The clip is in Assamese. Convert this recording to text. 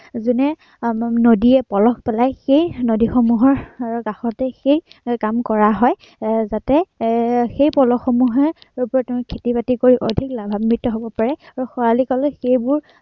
যেনে আহ নদীয়ে পলস পেলাই সেই নদীসমূহৰ এৰ কাষতেই সেই কাম কৰা হয়। এৰ যাতে এৰ সেই পলসসমূহে খেতি-বাতিত গৈ অধিক লাভাম্বিত হব পাৰে। আৰু খৰালি কালত সেইবোৰ